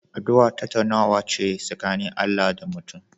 Addu'a tattaunawa ce tsakanin Allah da mutum